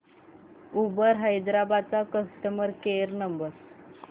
Uber Hyderabad चा customer care number